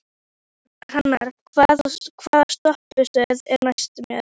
Hrannar, hvaða stoppistöð er næst mér?